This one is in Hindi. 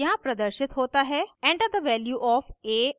यहाँ प्रदर्शित होता है: enter the value of a and b